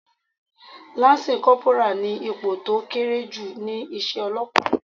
Láńsí kọporà ni ipò tó kéré jù ni iṣẹ́ Ọlọ́pàá.